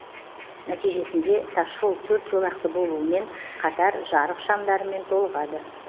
нәтижесінде тасжол төрт жолақты болуымен қатар жарық шамдарымен толығады